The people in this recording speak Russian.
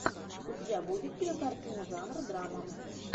у тебя будет кинокартина жанра драма